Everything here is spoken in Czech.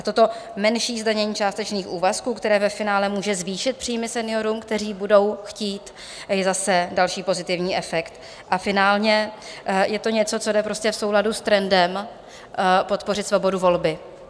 A toto menší zdanění částečných úvazků, které ve finále může zvýšit příjmy seniorům, kteří budou chtít, je zase další pozitivní efekt a finálně je to něco, co jde prostě v souladu s trendem podpořit svobodu volby.